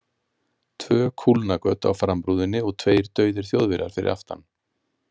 Tvö kúlnagöt á framrúðunni og tveir dauðir Þjóðverjar fyrir aftan.